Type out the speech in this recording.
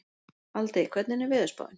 Aldey, hvernig er veðurspáin?